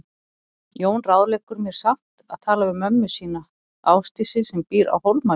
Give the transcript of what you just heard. Jón ráðleggur mér samt að tala við mömmu sína, Ásdísi, sem býr á Hólmavík.